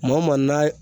Maa o maa n'a